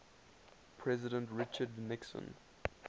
president richard nixon